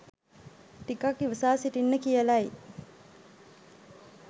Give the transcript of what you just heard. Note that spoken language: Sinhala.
ටිකක් ඉවසා සිටින්න කියලයි